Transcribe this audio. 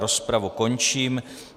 Rozpravu končím.